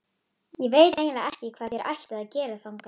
Ég veit eiginlega ekki hvað þér ættuð að gera þangað.